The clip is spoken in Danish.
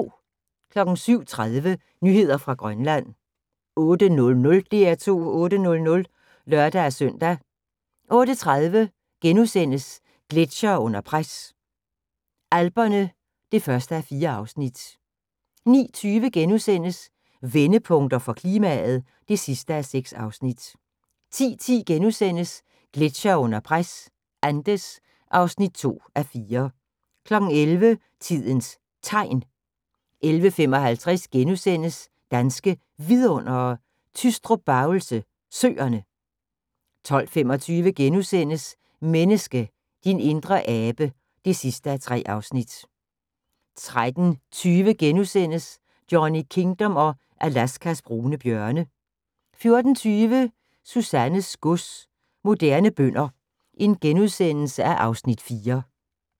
07:30: Nyheder fra Grønland 08:00: DR2 8:00 (lør-søn) 08:30: Gletsjere under pres – Alperne (1:4)* 09:20: Vendepunkter for klimaet (6:6)* 10:10: Gletsjere under pres – Andes (2:4)* 11:00: Tidens Tegn 11:55: Danske Vidundere: Tystrup-Bavelse Søerne * 12:25: Menneske – din indre abe (3:3)* 13:20: Johnny Kingdom og Alaskas brune bjørne * 14:20: Susannes gods – Moderne bønder (Afs. 4)*